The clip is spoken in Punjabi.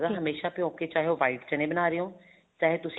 ਹਮੇਸ਼ਾ ਭਿਓ ਕੇ ਚਾਹੇ ਉਹ white ਚਣੇ ਬਣਾ ਰਹੇ ਹੋ ਚਾਹੇ